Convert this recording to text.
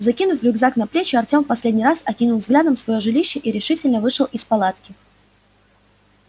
закинув рюкзак на плечи артём в последний раз окинул взглядом своё жилище и решительно вышел из палатки